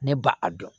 Ne ba a dɔn